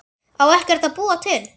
Á ekkert að búa til?